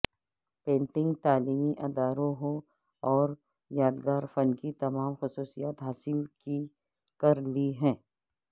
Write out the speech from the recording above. painting تعلیمی اداروں ہو اور یادگار فن کی تمام خصوصیات حاصل کر لی ہے